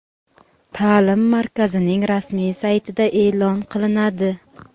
taʼlim markazining rasmiy saytida eʼlon qilinadi.